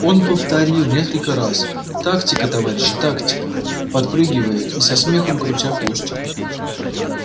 он повторил несколько раз тактика товарищи тактика подпрыгивая и со смехом крутя хвостиком